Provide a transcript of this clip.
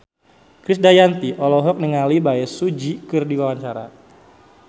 Krisdayanti olohok ningali Bae Su Ji keur diwawancara